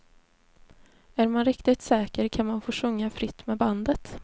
Är man riktigt säker kan man få sjunga fritt med bandet.